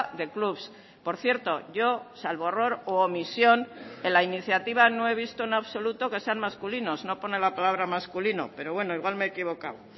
de clubs por cierto yo salvo error u omisión en la iniciativa no he visto en absoluto que sean masculinos no pone la palabra masculino pero bueno igual me he equivocado